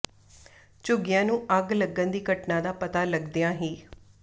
ਝੁੱਗੀਆਂ ਨੂੰ ਅੱਗ ਲੱਗਣ ਦੀ ਘਟਨਾ ਦਾ ਪਤਾ ਲੱਗਦਿਆਂ ਹੀ